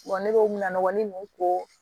ne bɛ o munɔgɔnin ninnu ko